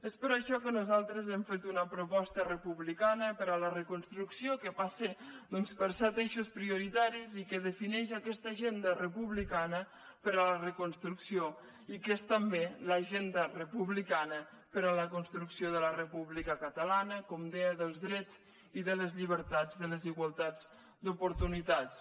és per això que nosaltres hem fet una proposta republicana per a la reconstrucció que passa doncs per set eixos prioritaris i que defineix aquesta agenda republicana per a la reconstrucció i que és també l’agenda republicana per a la construcció de la república catalana com deia dels drets i de les llibertats de les igualtats d’oportunitats